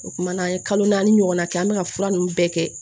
O kumana an ye kalo naani ɲɔgɔnna kɛ an bɛ ka fura ninnu bɛɛ kɛ